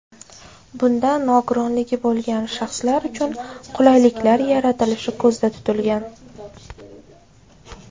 Bunda nogironligi bo‘lgan shaxslar uchun qulayliklar yaratilishi ko‘zda tutilgan.